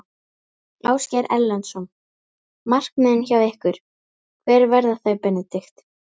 Ásgeir Erlendsson: Markmiðin hjá ykkur, hver verða þau Benedikt?